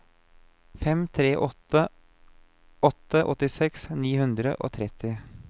fem tre åtte åtte åttiseks ni hundre og tretti